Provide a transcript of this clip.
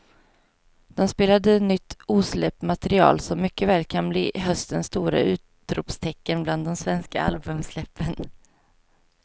De spelade nytt osläppt material som mycket väl kan bli höstens stora utropstecken bland de svenska albumsläppen.